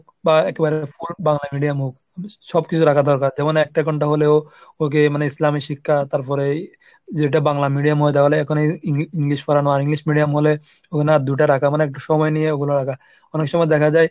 বা একেবারে full Bangla medium হোক সবকিছু সবকিছু রাখা দরকার যেমন একটা কোনটা হলেও ওকে মানে ইসলামী শিক্ষা তারপরেই যেটা বাংলা medium ময়দানে এখন এই Eng ⁓ English পড়ানো আর English medium বলে ওখানে দুইটা রাখা। মানে একটু সময় নিয়ে ওগুলা রাখা। অনেক সময় দেখা যায়